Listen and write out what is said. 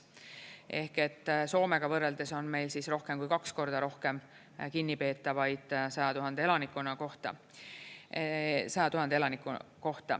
Ehk et Soomega võrreldes on meil rohkem kui kaks korda rohkem kinnipeetavaid 100 000 elaniku kohta.